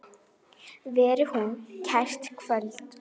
Þú getur aldrei sungið framar